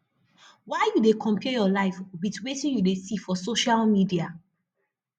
why you dey compare your life wit wetin you dey see for social media